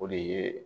O de ye